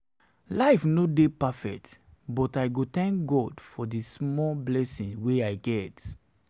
life no perfect but i go tank god for all di small blessings wey i get